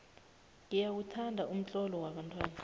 ngiyawuthanda umtlolo wabantwana